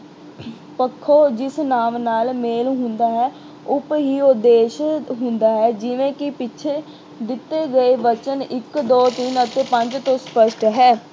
ਪੱਖੋਂ ਜਿਸ ਨਾਮ ਨਾਲ ਮੇਲ ਹੁੰਦਾ ਹੈ, ਉਸ ਹੀ ਉੱਦੇਸ਼ ਹੁੰਦਾ ਹੈ ਜਿਵੇਂ ਕਿ ਪਿੱਛੇ ਦਿੱਤੇ ਗਏ ਵਚਨ ਇੱਕ ਦੋ, ਤਿੰਨ ਅਤੇ ਪੰਜ ਤੋਂ ਸਪੱਸ਼ਟ ਹੈ।